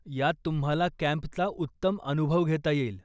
यात तुम्हाला कॅम्पचा उत्तम अनुभव घेता येईल.